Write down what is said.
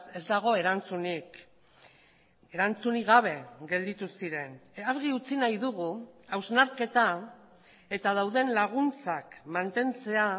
ez dago erantzunik erantzunik gabe gelditu ziren argi utzi nahi dugu hausnarketa eta dauden laguntzak mantentzea